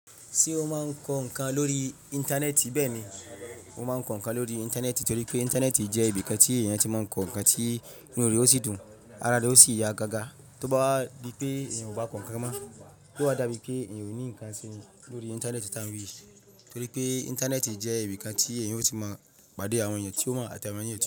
Ṣé ó máa ń kọ ǹkan lórí Íńtánẹ́ẹ̀tì? Bẹ́ẹ̀ ni, ó máa ń kọ ǹkan lórí Íńtánẹ́ẹ̀tì torí pé Íńtánẹ́ẹ̀tì jẹ́ ibi kàn tí èèyàn tí máa ń kọ ǹkan tí inú rẹ̀ ó sì dùn, ara rẹ̀ ó sì yá gágá. Tóbá wà bíi pé èèyàn ò bá kọ ǹkan má, tó wà dàbí pé èèyàn ò ní ǹkan sí lórí Íńtánẹ́ẹ̀tì tán yìí. Torí pé Íńtánẹ́ẹ̀tì jẹ́ ibi kàn tí èèyàn ó sì máa pàdé àwọn èèyàn tí ó máa ń àtẹ̀wéyàn sí.